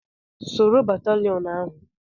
Soro batalịon ahụ!